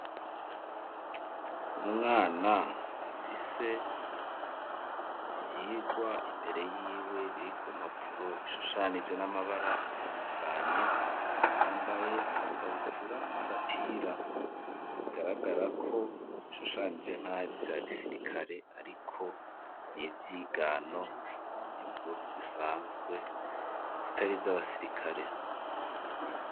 Umwana afise ivyigwa imbere y'iwe biri ku mpapfuro bishushanije n'amabara atandukanye yambaye agakabutura n'agapira garagara ko bishushanije nk'ari vya gisirikare ariko niivuyigano impuzu zisanzwe zitari z'abasirikare.